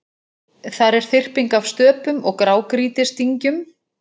Þar er þyrping af stöpum og grágrýtisdyngjum.